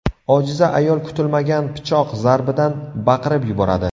Ojiza ayol kutilmagan pichoq zarbidan baqirib yuboradi.